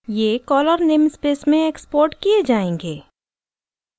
ये caller namespace में export किये जायेंगे